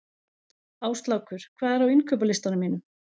Áslákur, hvað er á innkaupalistanum mínum?